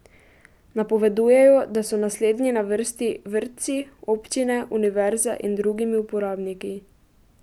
Napovedujejo, da so naslednji na vrsti vrtci, občine, univerze in drugimi uporabniki.